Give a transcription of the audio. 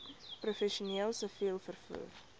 professioneel siviel vervoer